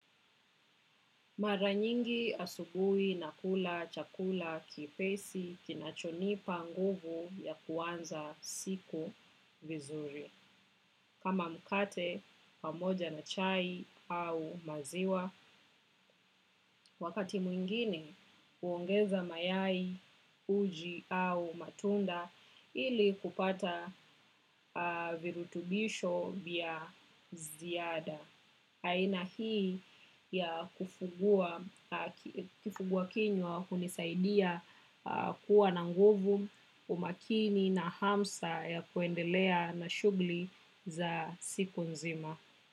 Mara nyingi asubui na kula chakula kiepesi kinachonipa nguvu ya kuanza siku vizuri. Kama mkate pamoja na chai au maziwa, wakati mwingine huongeza mayai uji au matunda ili kupata virutubisho vya ziada. Aina hii ya kifugwa kinywa hunisaidia kuwa na nguvu umakini na hamsa ya kuendelea na shugli za siku nzima.